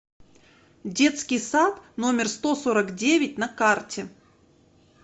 детский сад номер сто сорок девять на карте